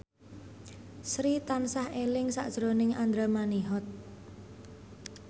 Sri tansah eling sakjroning Andra Manihot